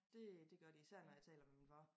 Det det gør de især når jeg taler med min far